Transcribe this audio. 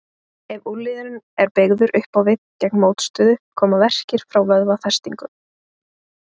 Ef úlnliðurinn er beygður upp á við gegn mótstöðu koma verkir frá vöðvafestingunum.